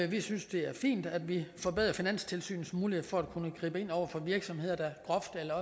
vi synes det er fint at vi forbedrer finanstilsynets mulighed for at kunne gribe ind over for virksomheder der groft eller